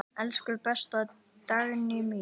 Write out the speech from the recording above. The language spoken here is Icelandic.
Elsku besta Dagný mín.